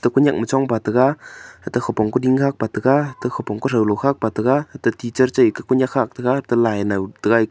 konyak ma chongpa taga kheto khupong koding khagpa taga khete khopong athong galo khagpa taga ate teacher chai ekah konyak khagtaga ate lai nau taga--